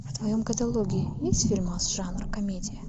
в твоем каталоге есть фильмас жанр комедия